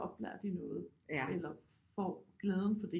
Oplært i noget eller får glæden fra